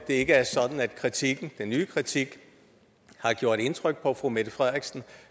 ikke er sådan at kritikken den nye kritik har gjort indtryk på fru mette frederiksen